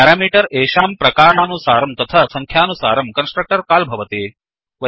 parameter एषां प्रकारानुसारं तथा सङ्ख्यानुसारं कन्स्ट्रक्टर् काल् भवति